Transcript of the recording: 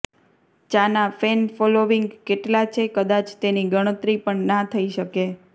ચાના fan following કેટલા છે કદાચ તેની ગણતરી પણ ના થઈ શકે